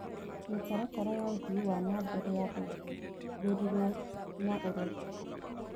Mĩtaratara ya ũthii wa na mbere yathundũrirwo na ũrori.